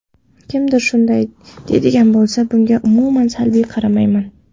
Kimdir shunday deydigan bo‘lsa, bunga umuman salbiy qaramayman.